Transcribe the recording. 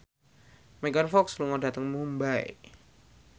Megan Fox lunga dhateng Mumbai